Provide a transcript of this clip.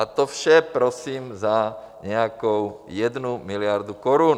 A to vše prosím za nějakou jednu miliardu korun.